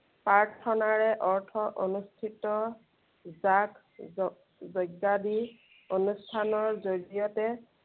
প্ৰাৰ্থনাৰে অৰ্থ অনুষ্ঠিত, যাগ যৈ~যৈজ্ঞাদিৰ অনুষ্ঠানৰ জড়িয়তে